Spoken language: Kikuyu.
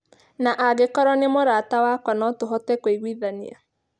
Na angĩkorũo nĩ mũrata wakwa no tũhote kũiguithania.